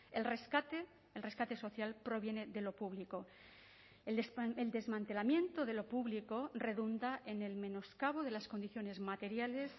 el rescate el rescate social proviene de lo público el desmantelamiento de lo público redunda en el menoscabo de las condiciones materiales